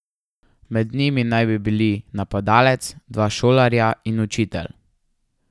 Med njimi naj bi bili napadalec, dva šolarja in učitelj.